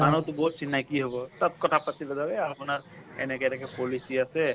মানুহ টো বহুত চিনাকী হব। সব কথা এ আপোনাৰ এনেকে policy আছে।